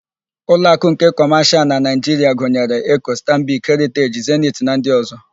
Uloakụ nke Kọmashịal na Naịjiria gụnyere: Eko, Stanbik, Heriteji, Zeniti na ndị ọ̀zọ́.